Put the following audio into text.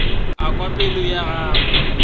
a kwa pelo ya gagwe